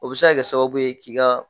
O bɛ se ka kɛ sababu ye k'i ka